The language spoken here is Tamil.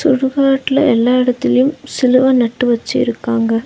சுடுகாட்ல எல்லா எடத்துலயு சிலுவ நட்டு வெச்சி இருக்காங்க.